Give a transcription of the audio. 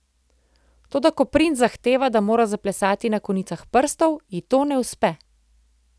Toda ko princ zahteva, da mora zaplesati na konicah prstov, ji to ne uspe.